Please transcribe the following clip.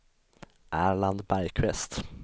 Erland Bergqvist